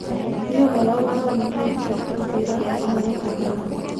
"Nĩ ũhoro wa ũrimũ ĩnjenti kwĩra Inooro mathako .